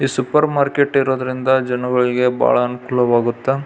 ಈ super market ಇರೋದ್ರಿಂದ ಜನಗಲ್ಗೆ ಬಾಳ ಅಂಕುಲವಾಗತ್ತೆ.